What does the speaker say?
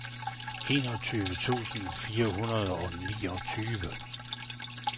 enogtyve tusind fire hundrede og niogtyve